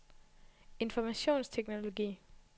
informationsteknologi